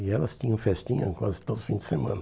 E elas tinham festinha quase todos os fins de semana.